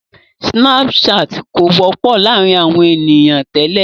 Sínàpù saàtì kò wọ́pọ̀ láàrin àwọn ènìyàn tẹ́lẹ̀.